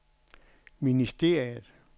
ministeriet